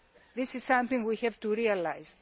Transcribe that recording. That is something we have to realise.